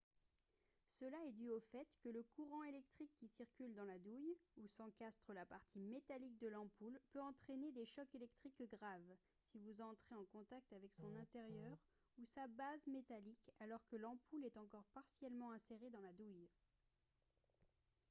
cela est dû au fait que le courant électrique qui circule dans la douille où s'encastre la partie métallique de l'ampoule peut entraîner des chocs électriques graves si vous entrez en contact avec son intérieur ou sa base métallique alors que l'ampoule est encore partiellement insérée dans la douille